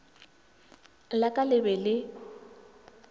la ka le be le